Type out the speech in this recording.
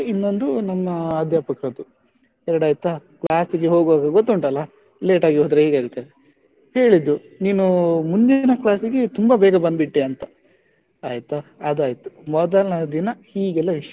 ಇನ್ನೊಂದು ನಮ್ಮ ಅಧ್ಯಾಪಕರದ್ದು ಎರಡು ಆಯ್ತಾ, class ಗೆ ಹೋಗುವಾಗ ಗೊತ್ತುಂಟಲ್ಲ late ಆಗಿ ಹೋದ್ರೆ ಹೇಗೆ ಅಂತ ಹೇಳಿದ್ದು ನೀನು ಮುಂದಿನ class ಗೆ ತುಂಬಾ ಬೇಗ ಬಂದ್ಬಿಟ್ಟೆ ಅಂತ ಆಯ್ತಾ ಅದು ಆಯ್ತು ಮೊದಲ್ನೇ ದಿನ ಹೀಗೆಲ್ಲ ವಿಷಯ,